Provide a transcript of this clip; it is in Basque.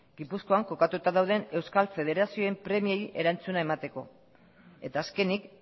gipuzkoan kokatuta dauden euskal federazioen premiei erantzuna emateko eta azkenik